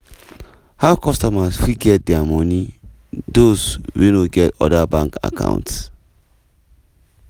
how customers fit get dia money those wey no get oda bank account: